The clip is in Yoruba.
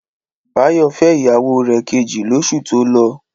Báyọ̀ fẹ́ ìyàwó rẹ̀ kejì lóṣù tó lọ.